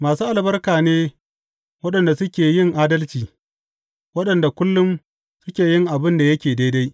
Masu albarka ne waɗanda suke yin adalci, waɗanda kullum suke yin abin da yake daidai.